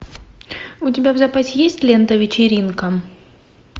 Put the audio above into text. у тебя в запасе есть лента вечеринка